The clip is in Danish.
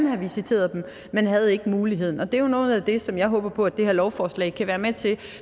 have visiteret dem men havde ikke muligheden det er noget af det som jeg håber på at det her lovforslag kan være med til